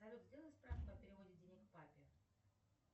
салют сделай справку о переводе денег папе